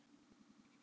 Ég var háð.